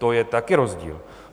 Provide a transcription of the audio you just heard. To je taky rozdíl.